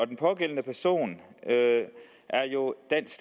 den pågældende person er jo dansk